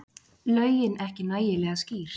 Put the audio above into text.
Lögin ekki nægilega skýr